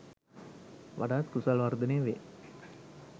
වඩාත් කුසල් වර්ධනය වේ.